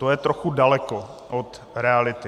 To je trochu daleko od reality.